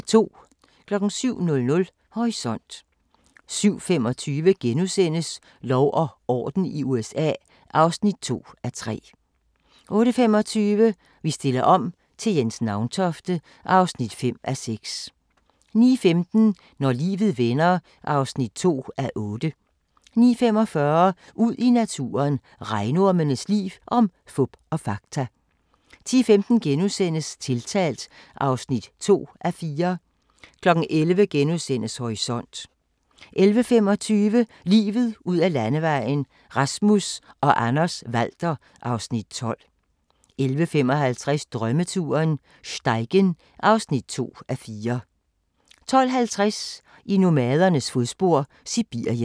07:00: Horisont 07:25: Lov og orden i USA (2:3)* 08:25: Vi stiller om til Jens Nauntofte (5:6) 09:15: Når livet vender (2:8) 09:45: Ud i naturen: Regnormens liv – om fup og fakta 10:15: Tiltalt (2:4)* 11:00: Horisont * 11:25: Livet ud ad Landevejen: Rasmus og Anders Walther (Afs. 12) 11:55: Drømmeturen - Steigen (2:4) 12:50: I nomadernes fodspor: Sibirien